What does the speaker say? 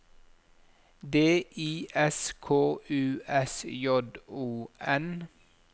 D I S K U S J O N